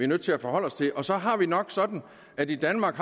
nødt til at forholde os til og så har vi det nok sådan at vi i danmark